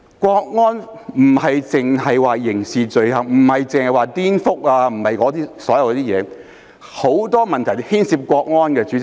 國安並非只涉及刑事罪行及顛覆等事情，很多問題也牽涉國安。